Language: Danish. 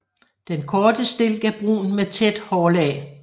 Den korte stilk er brun med tæt hårlag